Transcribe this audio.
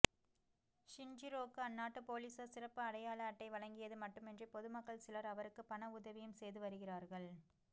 ஷின்ஜிரோக்கு அந்நாட்டு பொலிசார் சிறப்பு அடையாள அட்டை வழங்கியது மட்டுமின்றி பொதுமக்கள் சிலர் அவருக்கு பண உதவியும் செய்து வருகிறார்கள்